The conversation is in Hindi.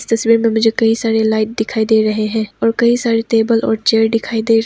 तस्वीर में मुझे कई सारे लाइट दिखाई दे रहे हैं और कई सारे टेबल और चेयर दिखाई दे रहे--